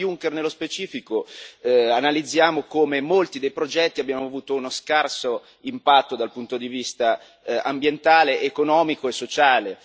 Sul Piano Juncker, nello specifico, analizziamo come molti dei progetti abbiano avuto uno scarso impatto dal punto di vista ambientale, economico e sociale.